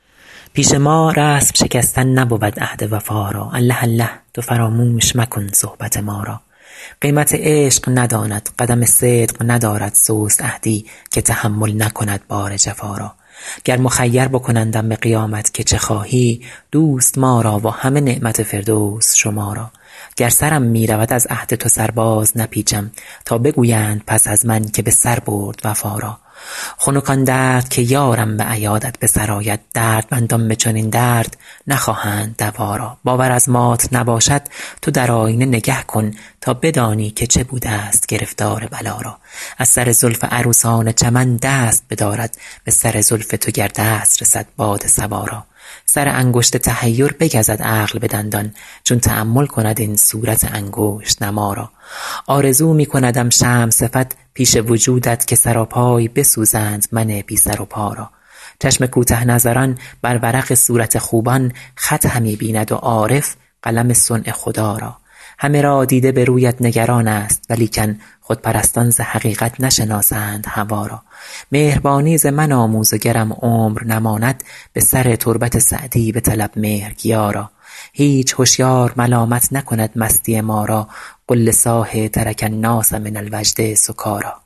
پیش ما رسم شکستن نبود عهد وفا را الله الله تو فراموش مکن صحبت ما را قیمت عشق نداند قدم صدق ندارد سست عهدی که تحمل نکند بار جفا را گر مخیر بکنندم به قیامت که چه خواهی دوست ما را و همه نعمت فردوس شما را گر سرم می رود از عهد تو سر بازنپیچم تا بگویند پس از من که به سر برد وفا را خنک آن درد که یارم به عیادت به سر آید دردمندان به چنین درد نخواهند دوا را باور از مات نباشد تو در آیینه نگه کن تا بدانی که چه بودست گرفتار بلا را از سر زلف عروسان چمن دست بدارد به سر زلف تو گر دست رسد باد صبا را سر انگشت تحیر بگزد عقل به دندان چون تأمل کند این صورت انگشت نما را آرزو می کندم شمع صفت پیش وجودت که سراپای بسوزند من بی سر و پا را چشم کوته نظران بر ورق صورت خوبان خط همی بیند و عارف قلم صنع خدا را همه را دیده به رویت نگران ست ولیکن خودپرستان ز حقیقت نشناسند هوا را مهربانی ز من آموز و گرم عمر نماند به سر تربت سعدی بطلب مهرگیا را هیچ هشیار ملامت نکند مستی ما را قل لصاح ترک الناس من الوجد سکاریٰ